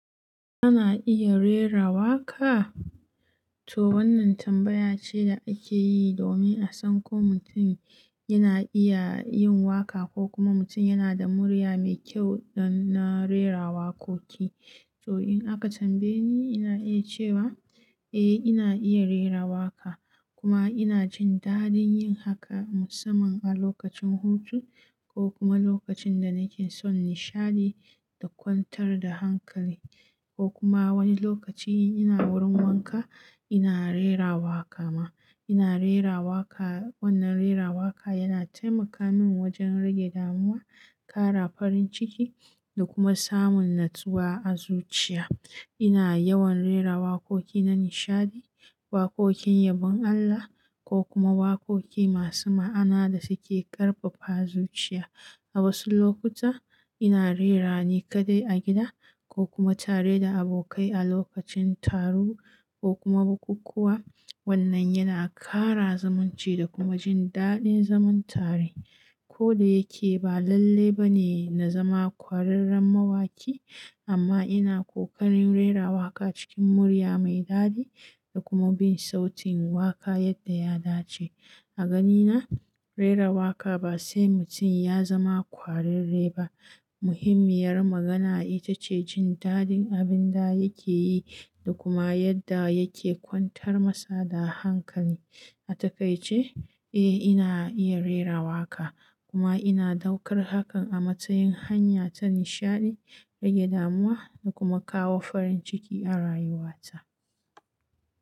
Kana iya rera waƙa? To wannan tambaya ce da ake yi domin a san ko mutum yana iya yin waƙa ko kuma mutum yana da murya mai kyau don na rera waƙoƙi. To in aka tambaye ni, ina iya cewa eh, ina iya rera waƙa kuma ina jin daɗin yin haka musamman a lokacin hutu ko kuma lokacin da nake son nishaɗi da kwantar da hankali ko kuma wani lokaci ina wurin wanka ina rera waƙa ma. Ina rera waƙa, wannan rera waƙa yana taimaka min wajen rage damuwa, ƙara farin ciki da kuma samun natsuwa a zuciya. Ina yawan rera waƙoƙi na nishaɗi, waƙoƙin yabon Allah ko kuma waƙoƙi masu ma'ana da suke ƙarfafa zuciya. A wasu lokuta ina rerawa ni kaɗai a gida ko kuma tare da abokai a lokacin taro ko kuma bukukuwa. Wannan yana ƙara zamunci da kuma jin daɗin zaman tare. Koda yake ba lalle ba ne na zama ƙwararren mawaki amma ina ƙoƙarin rera waƙa cikin murya mai daɗi da kuma bin sautin waƙa yadda ya dace. A ganina rera waƙa ba sai mutum ya zama ƙwararre ba. Muhimmiyar magana ita ce jin daɗin abin da yake yi da kuma yadda yake kwantar masa da hankali. A takaice, eh ina iya rera waƙa kuma ina ɗaukar hakan a matsayin hanya ta nishaɗi, rage damuwa da kuma kawo farin ciki a rayuwata.